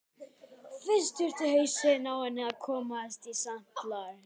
Fyrst þurfi hausinn á henni að komast í samt lag.